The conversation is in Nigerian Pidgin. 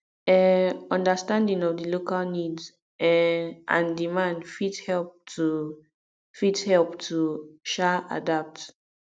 um understanding of di local needs um and demand fit help to fit help to um adapt